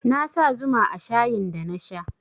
Na sa zuma a shayin da na sha